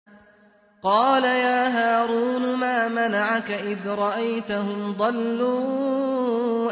قَالَ يَا هَارُونُ مَا مَنَعَكَ إِذْ رَأَيْتَهُمْ ضَلُّوا